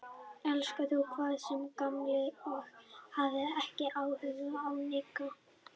Elskar þú hvað? sagði Kamilla og hafði ekki augun af Nikka.